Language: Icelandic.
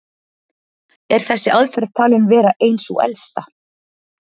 Er þessi aðferð talin vera ein sú elsta.